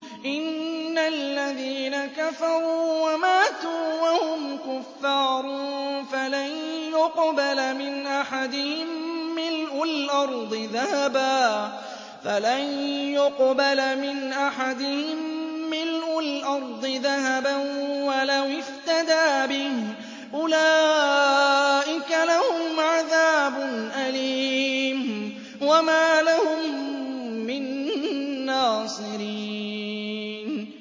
إِنَّ الَّذِينَ كَفَرُوا وَمَاتُوا وَهُمْ كُفَّارٌ فَلَن يُقْبَلَ مِنْ أَحَدِهِم مِّلْءُ الْأَرْضِ ذَهَبًا وَلَوِ افْتَدَىٰ بِهِ ۗ أُولَٰئِكَ لَهُمْ عَذَابٌ أَلِيمٌ وَمَا لَهُم مِّن نَّاصِرِينَ